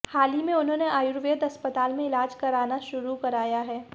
हाल ही में उन्होंने आयुर्वेद अस्पताल में इलाज कराना शुरू कराया है